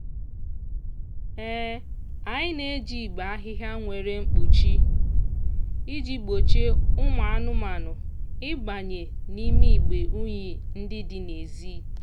anyị na-eji igbe ahịhịa nwere mkpuchi iji gbochie ụmụ anụmanụ ịbanye n'ime igbe unyi ndị dị n'ezi.